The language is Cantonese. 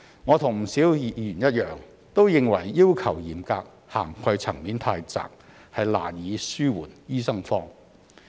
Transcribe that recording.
我與不少議員一樣，都認為要求嚴格、涵蓋層面太窄，難以紓緩醫生荒。